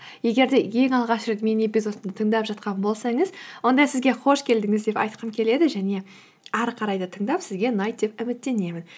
егер де ең алғаш рет менің эпизодымды тыңдап жатқан болсаңыз онда сізге қош келдіңіз деп айтқым келеді және әрі қарай да тыңдап сізге ұнайды деп үміттенемін